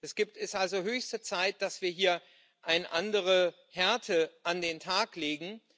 Es ist also höchste Zeit, dass wir hier eine andere Härte an den Tag legen.